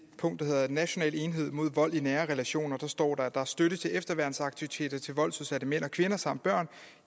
punkt der hedder nationale enhed mod vold i nære relationer står der at der er støtte til efterværnsaktiviteter til voldsudsatte mænd og kvinder samt børn